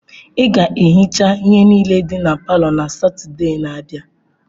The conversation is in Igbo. Ị ga-ehichasị ihe niile dị na palọ na Satọde na-abịa!